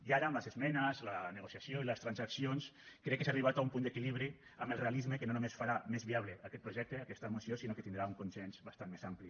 i ara amb les esmenes la negociació i les transaccions crec que s’ha arribat a un punt d’equilibri amb el realisme que no només farà més viable aquest projecte aquesta moció sinó que tindrà un consens bastant més ampli